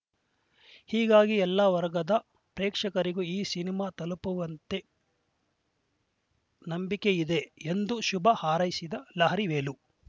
ಹೀಗಾಗಿ ಎಲ್ಲ ವರ್ಗದ ಪ್ರೇಕ್ಷಕರಿಗೂ ಈ ಸಿನಿಮಾ ತಲುಪುವಂತೆ ನಂಬಿಕೆ ಇದೆ ಎಂದು ಶುಭ ಹಾರೈಸಿದ್ದು ಲಹರಿ ವೇಲು